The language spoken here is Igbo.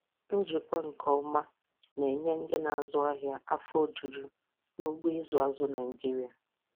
Njikwa nke ọma na-enye ndị na-azụ ahịa afọ ojuju n'ugbo ịzụ azụ Naịjiria.